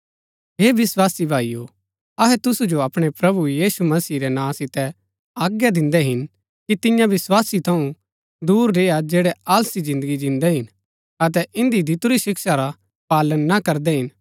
हे विस्वासी भाईओ अहै तुसु जो अपणै प्रभु यीशु मसीह रै नां सितै आज्ञा दिन्दै हिन कि तिन्या विस्वासी थऊँ दूर रेय्आ जैड़ै आलसी जिन्दगी जिन्दै हिन अतै इन्दी दितुरी शिक्षा रा पालन ना करदै हिन